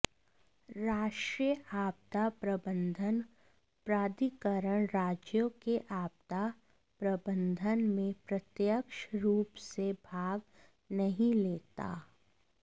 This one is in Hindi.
राष्ट्रीय आपदा प्रबंधन प्राधिकरण राज्यों के आपदा प्रबंधन में प्रत्यक्ष रूप से भाग नहीं लेता